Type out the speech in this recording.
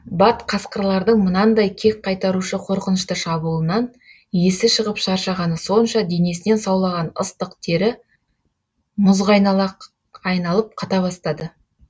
бат қасқырлардың мынандай кек қайтарушы қорқынышты шабуылынан есі шығып шаршағаны сонша денесінен саулаған ыстық тері мұзға айналып қата бастады